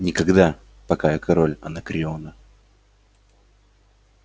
никогда пока я король анакреона